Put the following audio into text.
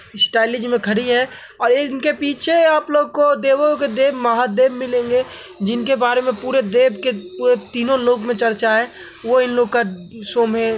स्टाईलीज में खड़ी है और इनके पीछे आप लोगों को देवों के देव महादेव मिलेंगे जिनके बारे में पूरे देव के तीनों लोक में चर्चा है वो इन लोग का शो में --